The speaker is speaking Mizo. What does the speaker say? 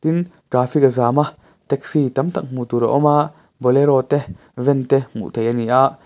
tin traffic a zam a taxi tam tak hmuh tur a awm a bolero te van te hmuh theih a ni ah.